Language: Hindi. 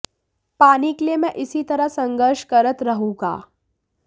पानी के लिए मैं इसी तरह संघर्ष करत रहूंगा